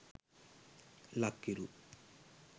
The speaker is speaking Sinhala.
lakhiru